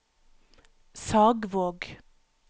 Sagvåg